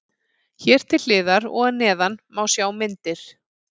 Hér til hliðar og að neðan má sjá myndir.